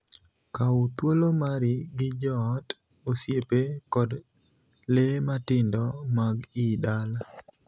Kaw thuolo mari gi joot, osiepe, kod lee matindo mag ii dala (ot).